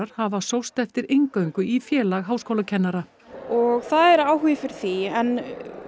hafa sóst eftir inngöngu í Félag háskólakennara og það er áhugi fyrir því en